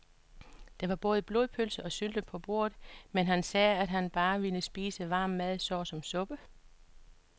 Der var både blodpølse og sylte på bordet, men han sagde, at han bare ville spise varm mad såsom suppe.